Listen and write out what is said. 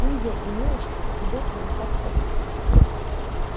индия и милочка идут нам так редко